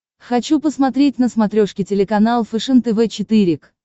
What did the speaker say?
хочу посмотреть на смотрешке телеканал фэшен тв четыре к